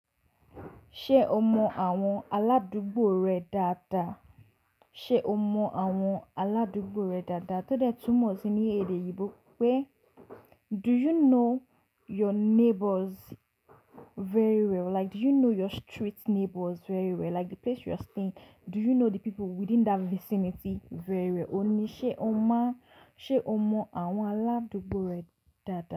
Ṣé o mọ àwọn aládùúgbò rẹ dáadáa? Ṣé o mọ àwọn aládùúgbò rẹ dáadáa? Tódé túmọ̀ sí ní èdè Yorùbá pé do you know your neighbours very well? Like do you know your street neighbours very well? Like the place you are staying, do you know the people within that vicinity very well? Òun ní ṣé o mọ, ṣé o mọ àwọn aládùúgbò rẹ dáadáa?